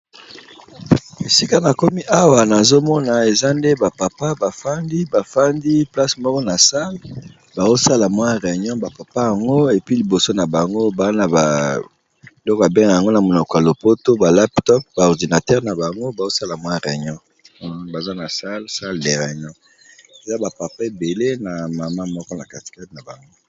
Esika nakomi awa bandeko eza obele ba mama na ba papa moko boye bazo sala Reunion namoni baza nakiti ya salle liboso nabango moto nyoso aza ba machines ya computer